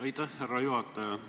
Aitäh, härra juhataja!